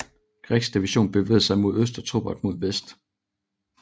Greggs division bevægede sig mod øst og Torbert mod vest